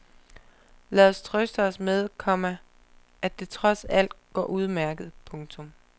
Lad os trøste os med, komma at det trods alt går udmærket. punktum